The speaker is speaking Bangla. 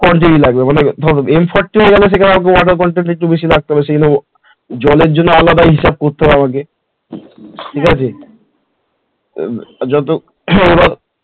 Quantity লাগবে মানে ধর m forty five হলে সেখানে আমাকে water quantity একটু বেশি রাখতে হবে জলের জন্য আলাদা হিসাব করতে হবে আমাকে ঠিকাছে